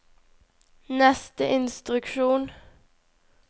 neste instruksjon